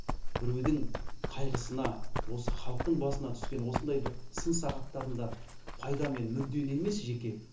біреудің қайғысына осы халықтың басына түскен осындай бір сын сағаттарында пайда мен мүддені емес жеке